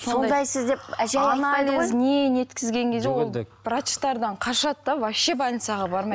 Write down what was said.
сондайсыз деп не неткізген кезде ол врачтардан қашады да вообще больницаға бармайды